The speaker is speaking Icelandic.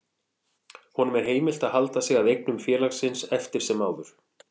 Honum er heimilt að halda sig að eignum félagsins eftir sem áður.